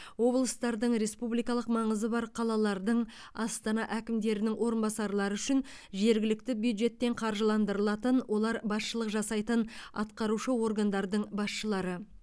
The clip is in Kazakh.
облыстардың республикалық маңызы бар қалалардың астана әкімдерінің орынбасарлары үшін жергілікті бюджеттен қаржыландырылатын олар басшылық жасайтын атқарушы органдардың басшылары